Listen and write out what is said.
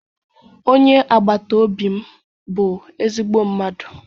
Onye agbata obi m bụ ezigbo mmadụ